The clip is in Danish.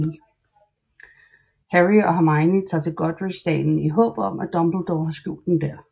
Harry og Hermione tager til Godric Dalen i håb om at Dumbledore har skjult den der